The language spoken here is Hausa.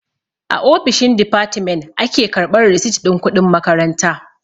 A ofishin difatimen a ke karɓan risit ɗin kuɗin makaranta.